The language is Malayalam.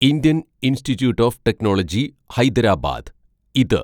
Indian institute of technology Hyderabad (ഇത്)